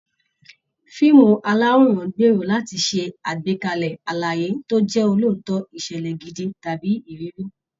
Fíìmù aláwòrán ń gbèrò láti ṣe àgbékalẹ̀ àlàyé tó jẹ́ òótọ́, ìṣẹ̀lẹ̀ gidi, tàbí ìrírí